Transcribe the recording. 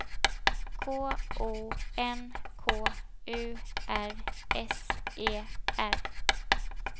K O N K U R S E R